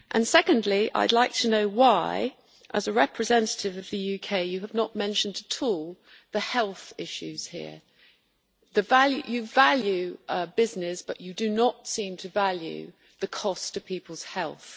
Secondly, I would like to know why, as a representative of the UK, you have not mentioned the health issues here at all. You value business, but you do not seem to value the cost to people's health.